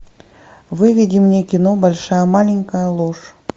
выведи мне кино большая маленькая ложь